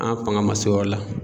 An faŋa ma se o yɔrɔ la.